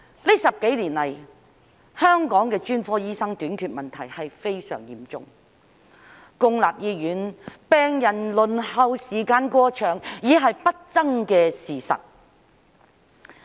近10多年來，香港的專科醫生短缺問題非常嚴重，公立醫院病人輪候時間過長已是不爭的事實。